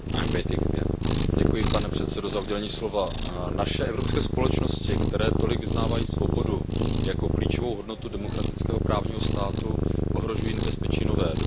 Pane předsedající, naše evropské společnosti, které tolik vyznávají svobodu jako klíčovou hodnotu demokratického právního státu, ohrožují nebezpečí nová, doposud nepoznaná.